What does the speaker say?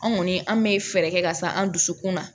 An kɔni an bɛ fɛɛrɛ kɛ ka sa an dusukun na